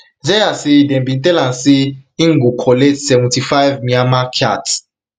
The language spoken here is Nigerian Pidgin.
zeya say dem bin tell am say am say im go collect seventy-fivem myanmar kyats